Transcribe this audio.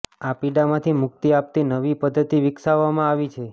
આ પીડામાંથી મુક્તિ આપતી નવી પદ્ધતિ વિકસાવવામાં આવી છે